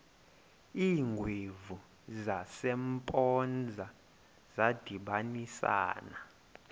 iingwevu zasempoza zadibanisana